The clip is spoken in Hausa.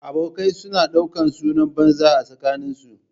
Abokai su na ɗaukan sunan banza a tsakanin su